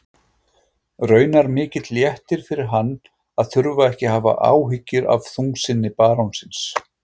Raunar mikill léttir fyrir hann að þurfa ekki að hafa áhyggjur af þungsinni barónsins.